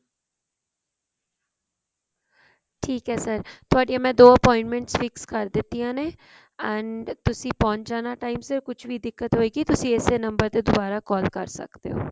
ਠੀਕ ਹੈ sir ਤੁਹਾਡੀਆਂ ਮੈਂ ਦੋ appointments fix ਕਰ ਦਿੱਤੀਆਂ ਨੇ and ਤੁਸੀਂ ਪਹੁੰਚ ਜਾਣਾ time ਸਿਰ ਕੁਛ ਵੀ ਦਿੱਕਤ ਹੋਵੇਗੀ ਇਸੇ number ਤੇ ਦੁਬਾਰਾ call ਕਰ ਸਕਦੇ ਹੋ